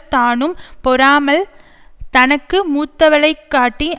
தானும் பொறாமல் தனக்கு மூத்தவளைக் காட்டி